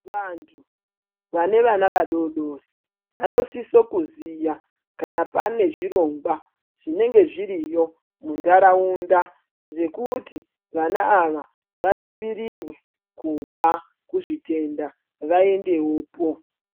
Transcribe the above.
Vantu vane vana vadoodori vanosiso kuziya kana pane zvirongwa zvinenge zviriyo muntaraunda, zvekuti vana ava vadzivirirwe kubva kuzvitenda, vaendewopo.